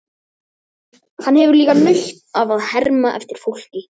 Hann hefur líka nautn af að herma eftir fólki.